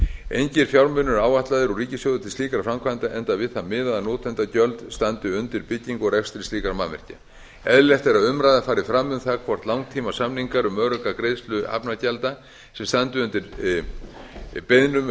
engir fjármunir eru ætlaðir úr ríkissjóði til slíkra framkvæmda enda við það miðað að notendagjöld standi bæði undir byggingu og rekstri slíkra mannvirkja eðlilegt er að umræða fari fram um það hvort langtímasamningar um örugga greiðslu hafnargjalda sem standi undir beiðnum